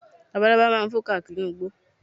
Labalábá máa fò káàkiri inú igbó